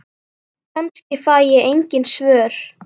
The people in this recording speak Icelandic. Kannski fæ ég engin svör.